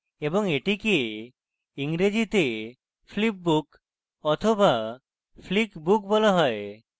এবং এটিকে ইংরেজিতে flip book বা flick book বলা হয়